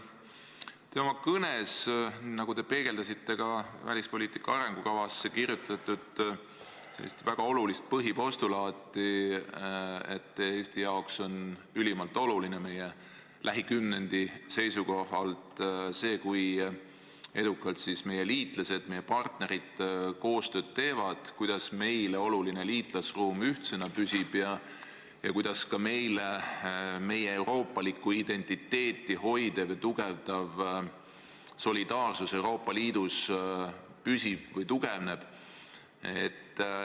Te oma kõnes peegeldasite ka välispoliitika arengukavas kirjas olevat väga olulist põhipostulaati, et Eesti jaoks on ülimalt oluline meie lähikümnendi seisukohalt see, kui edukalt siis meie liitlased, meie partnerid koostööd teevad, kuidas meile oluline liitlasruum ühtsena püsib ja kuidas ka meie euroopalikku identiteeti hoidev ja tugevdav solidaarsus Euroopa Liidus püsib või tugevneb.